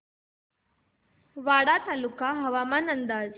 वाडा तालुका हवामान अंदाज